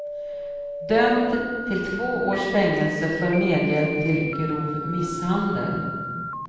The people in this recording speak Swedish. Dömd till två års fängelse för medhjälp till grov misshandel.